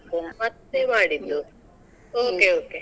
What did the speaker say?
ಮತ್ತೆ ಮಾಡಿದ್ದು. okay okay .